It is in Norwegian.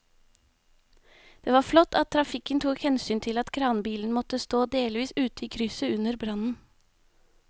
Det var flott at trafikken tok hensyn til at kranbilen måtte stå delvis ute i krysset under brannen.